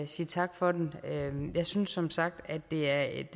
sige tak for den jeg synes som sagt at det er et